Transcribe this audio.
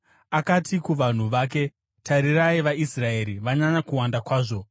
Akati kuvanhu vake, “Tarirai, vaIsraeri vanyanya kuwanda kwazvo.